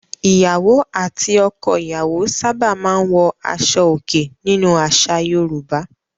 Ìyàwó àti ọkọ-ìyàwó sábà máa ń wọ aṣọòkè nínú àṣà Yorùbá.